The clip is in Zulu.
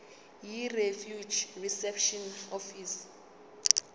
yirefugee reception office